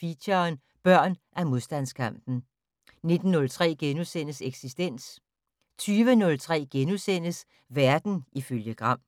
Feature: Børn af modstandskampen * 19:03: Eksistens * 20:03: Verden ifølge Gram *